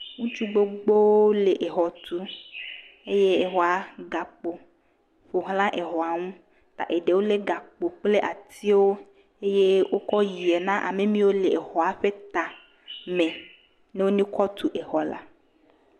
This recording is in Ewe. Ŋutsu gbogbowo le exɔ tum eye exɔa gakpo ƒoxlã exɔa ŋu. Ta eɖewo lé gakpo kple atiwo eye wokɔe yie na ame mewo le exɔa ƒe ta me ne wonekɔ tu exɔ la.